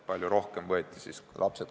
Palju rohkem hakati võtma Eesti kodakondsust.